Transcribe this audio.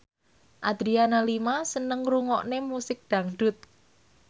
Adriana Lima seneng ngrungokne musik dangdut